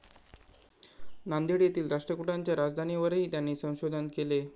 नांदेड येथील राष्ट्रकुटांच्या राजधानीवरही त्यांनी संशोधन केले.